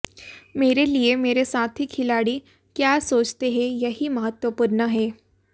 मेरे लिए मेरे साथी खिलाड़ी क्या सोचते हैं यही महत्वपूर्ण है